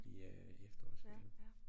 I øh eftersårsferien